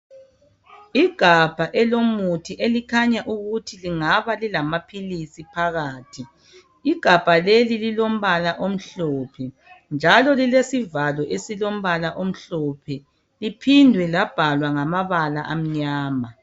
Igabha elomuthi elikhanya ukuthi kungaba lilamaphilisi phakathi. Igabha leli lilombala omhlophe njalo lilesivalo esilombala omhlophe liphinde labhalwa ngamabala amnyama.